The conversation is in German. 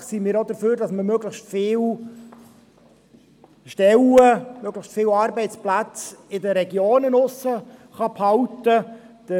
Selbstverständlich sind wir auch dafür, dass man möglichst viele Stellen, möglichst viele Arbeitsplätze draussen in den Regionen erhalten kann.